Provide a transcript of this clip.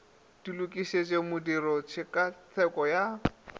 di loketšego modiro tshekatsheko ya